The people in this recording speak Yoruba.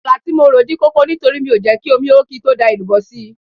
Àmàlà tí mo rò dí kókó nítorí mi ò jẹ́ kí omi ó kí n tó da èlùbọ́ sí i